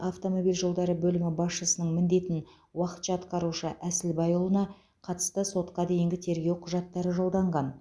автомобиль жолдары бөлімі басшысының міндетін уақытша атқарушы әсілбайұлына қатысты сотқа дейінгі тергеу құжаттары жолданған